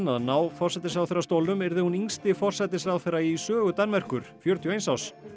að ná forsætisráðherrastólnum yrði hún yngsti forsætisráðherra í sögu Danmerkur fjörutíu og eins árs